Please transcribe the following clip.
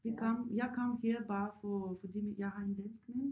Jeg kom jeg kom her bare for fordi min jeg har en dansk mand